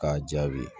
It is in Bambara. K'a jaabi